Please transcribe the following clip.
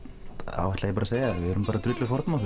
þá ætla ég bara að segja það við erum bara